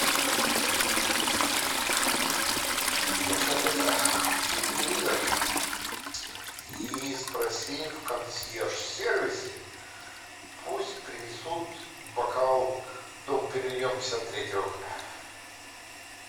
слушай алиса включи телевизор и спроси в консьерж сервисе пусть принесут бокал дом периньон пятьдесят третьего года